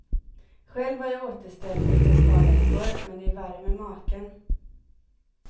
Själv var jag återställd efter ett par veckor, men det är värre med maken.